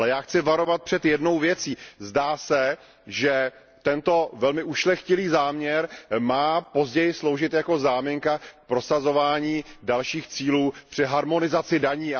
Ale já chci varovat před jednou věcí zdá se, že tento velmi ušlechtilý záměr má později sloužit jako záminka k prosazování dalších cílů při harmonizaci daní.